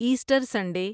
Easter Sunday